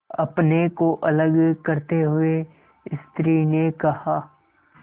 अपने को अलग करते हुए स्त्री ने कहा